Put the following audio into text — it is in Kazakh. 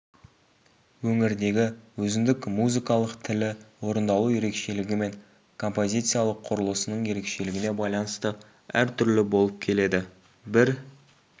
өңірдегі өзіндік музыкалық тілі орындалу ерекшелігі мен композициялық құрылысының өзгешелігіне байланысты әртүрлі болып келеді бір